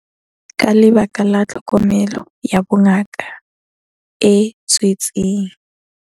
Ka lebaka la tlhokomelo ya bongaka e tswetseng